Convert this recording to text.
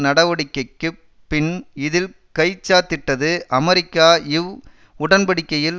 நடவடிக்கைக்கு பின் இதில் கைச்சாத்திட்டது அமெரிக்கா இவ் உடன்படிக்கையில்